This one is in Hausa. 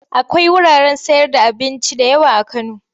Akwai wuraren sayarda abinci da yawa a Kano.